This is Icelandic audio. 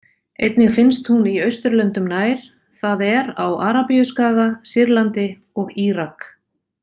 Einnig finnst hún í Austurlöndum nær, það er á Arabíuskaga, Sýrlandi og Írak.